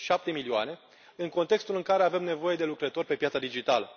Șapte milioane, în contextul în care avem nevoie de lucrători pe piața digitală.